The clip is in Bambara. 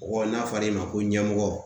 n'a fɔr'I ma ko ɲɛmɔgɔ